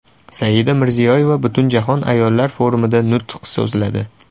Saida Mirziyoyeva Butunjahon ayollar forumida nutq so‘zladi.